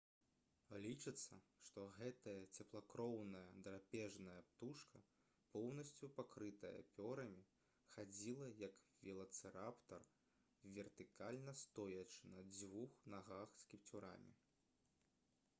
лічыцца што гэтая цеплакроўная драпежная птушка поўнасцю пакрытая пёрамі хадзіла як велацыраптар вертыкальна стоячы на дзвюх нагах з кіпцюрамі